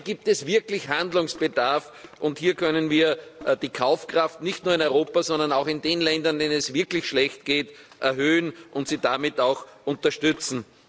Hier gibt es wirklich Handlungsbedarf, und hier können wir die Kaufkraft nicht nur in Europa, sondern auch in den Ländern, denen es wirklich schlecht geht, erhöhen und sie damit auch unterstützen.